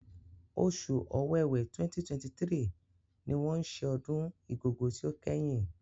Oṣù Ọwẹ́wẹ̀ 2023 ni wọ́n ṣe ọdún Igogo ti ó kẹ́yìn.